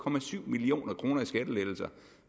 million kroner i skattelettelser